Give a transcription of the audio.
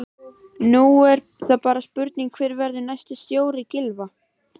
Nú er það bara spurning hver verður næsti stjóri Gylfa?